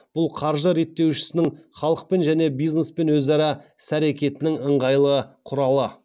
бұл қаржы реттеушісінің халықпен және бизнеспен өзара іс әрекетінің ыңғайлы құралы